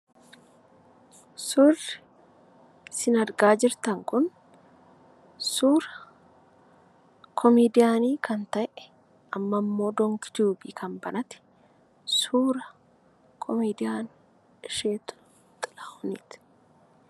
Suurri isin argaa jirtan kun suura komeediyaanii kan ta'e, amma immoo Donk Tube kan banate, suura komeediyaan Ishetuu Xilaahuniti.